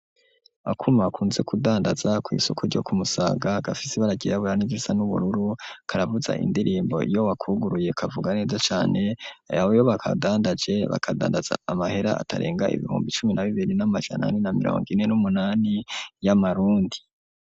Akuma akunze kudandaza ku isoko ryo kumusaga gafisi baragieaburani zisa n'ubururu karavuza indirimbo yo wakuguruye kavuga neza cyane ayo bo bo bakadandaje bakadandaza amahera atarenga ibihumbi cumi na bibiri n'amajanani na mirongo ine n'umunani y'amarundi.